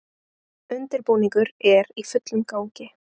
Undirbúningur er í fullum gangi